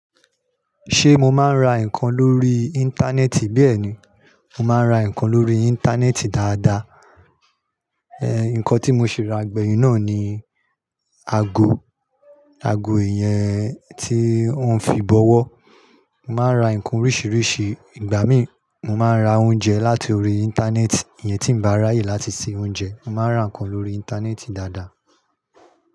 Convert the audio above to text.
Ṣé mo máa ń ra nǹkan lórí Íńtánẹ́ẹ̀tì? Béèni, mo máa ń ra nǹkan lórí ìntanẹ́ẹ̀tì dáadaa. Ẹ̀hẹ̀n, nǹkan tí mo ṣi rà gbẹ̀yìn náà ni aago, aago ìyẹn tí wọ́n fi bọwọ́. Mo máa ń ra nǹkan oríṣìíríṣìí. Ìgbà míì, mo máa ń ra oúnjẹ láti orí Íńtánẹ́ẹ̀tì iyẹn tí ń ba ràyè láti se oúnjẹ. Mo máa ń ra nǹkan lórí Íńtánẹ́ẹ̀tì dáadaa.